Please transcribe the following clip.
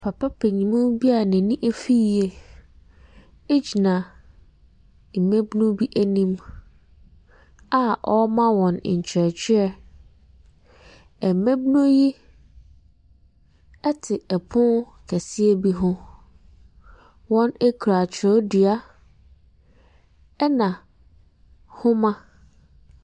Papa panyinmuu bia n'ani ɛfi yie egyina mmɛbunu bi ɛnim a ɔrema wɔn nkyerɛkyerɛ. Mmabunu yi ɛte ɛpono kɛseɛ bi ho. Wɔn kura twerɛdua ɛna homa.